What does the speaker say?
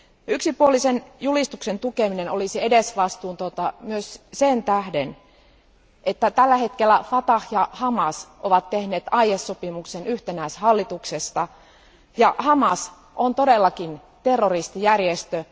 Yksipuolisen julistuksen tukeminen olisi edesvastuutonta myös sen tähden, että tällä hetkellä Fatah ja Hamas ovat tehneet aiesopimuksen yhtenäishallituksesta, ja Hamas on todellakin terroristijärjestö.